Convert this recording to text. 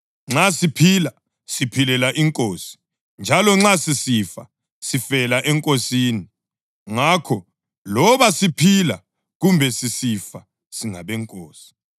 Nxa siphila, siphilela iNkosi; njalo nxa sisifa, sifela eNkosini. Ngakho, loba siphila kumbe sisifa, singabeNkosi.